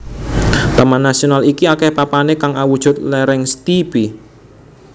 Taman nasional iki akeh papane kang awujud lereng steepy